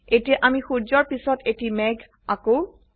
এতিয়া আমি সূৰ্যৰ পিছত এটি মেঘ আঁকো